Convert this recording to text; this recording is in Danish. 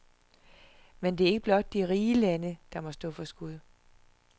Men det er ikke blot de rige lande, der må stå for skud.